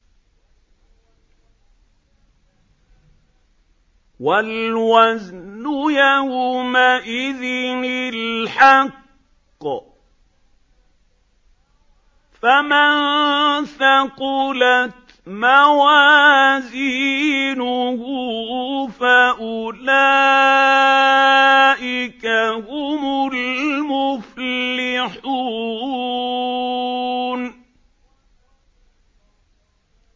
وَالْوَزْنُ يَوْمَئِذٍ الْحَقُّ ۚ فَمَن ثَقُلَتْ مَوَازِينُهُ فَأُولَٰئِكَ هُمُ الْمُفْلِحُونَ